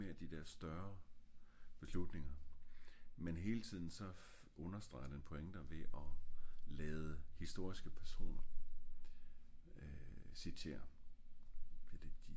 det er mere de der større beslutninger men hele tiden så understreger den pointer ved og lade historiske personer øh citerer